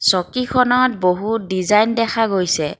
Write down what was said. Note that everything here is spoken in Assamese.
চকীখনত বহুত ডিজাইন দেখা গৈছে।